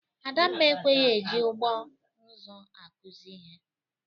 Adamma ekweghi e ji ụgbọ nzụ akụzị ihe.